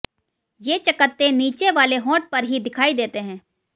ये चकत्ते नीचे वाले होंठ पर ही दिखाई देते हैं